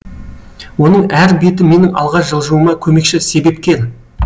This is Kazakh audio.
оның әр беті менің алға жылжуыма көмекші себепкер